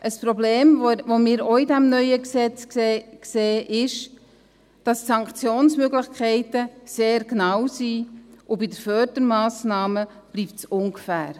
Ein Problem, das wir in diesem neuen Gesetz auch sehen ist, dass Sanktionsmöglichkeiten sehr genau sind, aber bei den Fördermassnahmen bleibt es ungefähr.